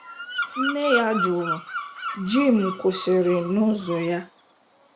Nne ya jụrụ .Jim kwụsịrị n'ụzọ ya.